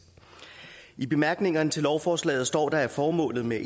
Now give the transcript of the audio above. i bemærkningerne til lovforslaget står der at formålet med